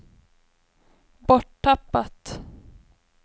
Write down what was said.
borttappat